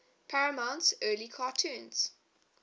paramount's early cartoons